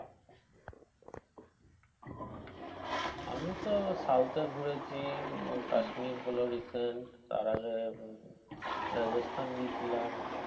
আমিতো south এ ঘুরেছি কাশ্মির হলো recent তার আগে রাজস্থান গিয়েছিলাম,